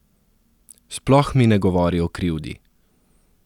Sploh mi ne govori o krivdi!